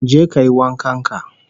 Je kayi wankan ka